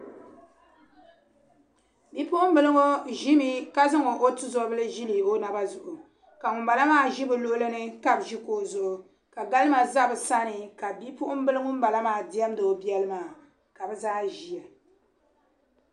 Bipuɣinbiliŋɔ, ʒimi ka zaŋ ɔtu zobili n ʒili. ɔnaba zuɣu ka ŋun bala maa mi ʒi bɛ luɣilini. ka ʒi kuɣu zuɣu, ka galima ʒɛ bɛ sani, ka bipuɣin bili ŋun bala maa ,demdi ɔbɛli maa ka bɛ zaa ʒiya.